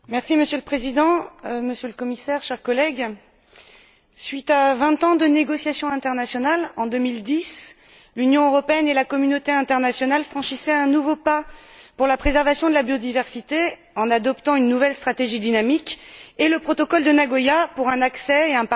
Monsieur le Président, Monsieur le Commissaire, chers collègues, après vingt ans de négociations internationales, en 2010, l'Union européenne et la communauté internationale ont franchi un nouveau pas vers la préservation de la biodiversité en adoptant une nouvelle stratégie dynamique et le protocole de Nagoya sur l'accès aux